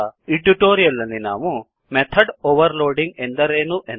ಈ ಟ್ಯುಟೋರಿಯಲ್ ನಲ್ಲಿ ನಾವು ಮೆಥಡ್ ಓವರ್ಲೋಡಿಂಗ್ ಎಂದರೇನು